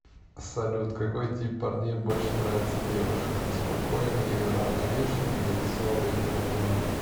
салют какой тип парней больше нравится девушкам спокойный и уравновешенный или веселый и взрывной